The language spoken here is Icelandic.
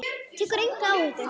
Tekur enga áhættu.